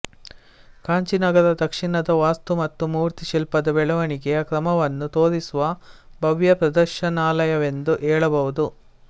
ಕಾಂಚೀ ನಗರ ದಕ್ಷಿಣದ ವಾಸ್ತು ಮತ್ತು ಮೂರ್ತಿ ಶಿಲ್ಪದ ಬೆಳೆವಣಿಗೆಯ ಕ್ರಮವನ್ನು ತೋರಿಸುವ ಭವ್ಯ ಪ್ರದರ್ಶನಾಲಯವೆಂದು ಹೇಳಬಹುದು